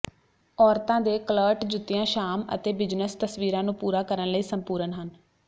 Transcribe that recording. ਔਰਤਾਂ ਦੇ ਕਲਰਟ ਜੁੱਤੀਆਂ ਸ਼ਾਮ ਅਤੇ ਬਿਜ਼ਨਸ ਤਸਵੀਰਾਂ ਨੂੰ ਪੂਰਾ ਕਰਨ ਲਈ ਸੰਪੂਰਨ ਹਨ